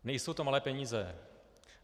Nejsou to malé peníze.